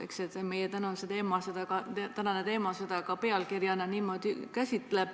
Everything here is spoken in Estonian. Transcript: Eks see ole ka meie tänase teema pealkiri.